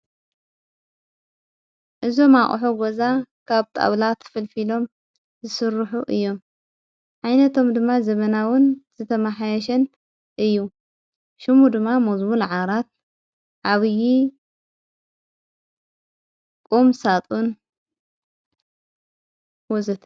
እዞ ኣቕሑ ገዛ ካብ ጣውላ ተፍልፊሎም ዝሥርሑ እዮ ዓይነቶም ድማ ዘመናዉን ዝተማሓየሽን እዩ ሹሙ ድማ መዘሙል ዓራት ፣ዓብዪ ቁምሳጡን ፣ወዘተ...